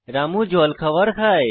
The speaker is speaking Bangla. রামু জল খাওয়ার খায়